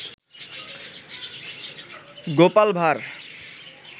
Gopal Bhar